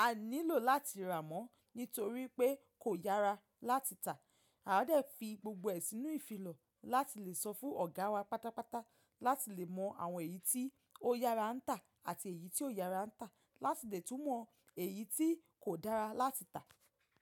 a nílò láti rà mọ́ nítorí pé kò yára láti tà. A o dẹ̀ fi gbogbo ẹ sínu ìfilọ̀ láti lè sọ fún ọ̀gá wa pátápátá láti lè mọ àwọn èyí tí ó yára ń tà àti èyí tí ò yára ń tà láti lè tún mọ èyí tí kò dára láti tà.